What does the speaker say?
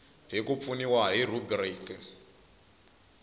hi ku pfuniwa hi rhubiriki